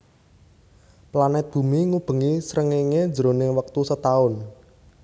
Planet bumi ngubengi srengéngé jroning wektu setaun